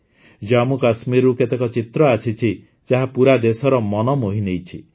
ଜାମ୍ମୁକାଶ୍ମୀରରୁ କେତେକ ଚିତ୍ର ଆସିଛି ଯାହା ପୂରା ଦେଶର ମନ ମୋହିନେଇଛି